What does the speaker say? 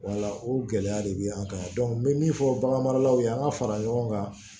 o gɛlɛya de bɛ an kan n bɛ min fɔ baganmaralaw ye an ka fara ɲɔgɔn kan